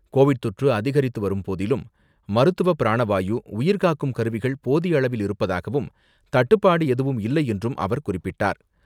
Covid தொற்று அதிகரித்து வரும்போதிலும், மருத்துவ பிராண வாயு, உயிர்காக்கும் கருவிகள் போதிய அளவில் இருப்பதாகவும், தட்டுப்பாடு எதுவும் இல்லை என்றும் அவர் குறிப்பிட்டார்.